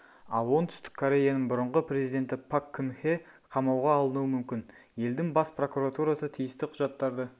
ал оңтүстік кореяның бұрынғы президенті пак кын хе қамауға алынуы мүмкін елдің бас прокуратурасы тиісті құжаттарды